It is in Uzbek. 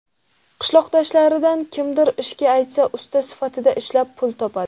Qishloqdoshlaridan kimdir ishga aytsa, usta sifatida ishlab, pul topadi.